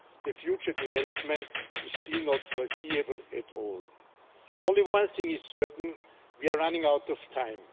The future development is still not foreseeable at all. Only one thing is certain we are running out of time.